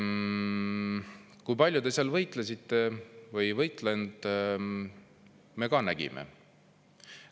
Kui palju te seal võitlesite või ei võidelnud, me ka nägime.